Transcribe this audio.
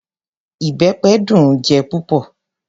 Ìbẹpẹ dùn-ún jẹ púpọ̀.